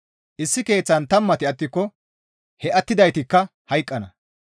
Issi keeththan tammati attiko he attidaytikka hayqqana.